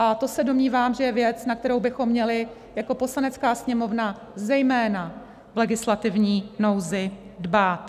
A to se domnívám, že je věc, na kterou bychom měli jako Poslanecká sněmovna zejména v legislativní nouzi dbát.